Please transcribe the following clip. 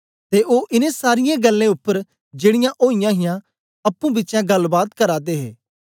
ते ओ इनें सारीयें गल्लें उपर जेड़ीयां ओईयां हां अप्पुं बिचें गल्लबात करा दे हे